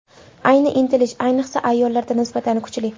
Ayni intilish, ayniqsa, ayollarda nisbatan kuchli.